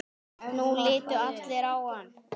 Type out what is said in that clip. Nú litu allir á hann.